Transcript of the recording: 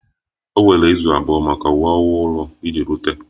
O were izu abụọ maka uwe ọhụrụ iji rute